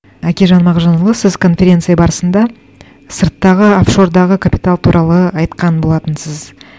әкежан мағжанұлы сіз конференция барысында сырттағы оффшордағы капитал туралы айтқан болатынсыз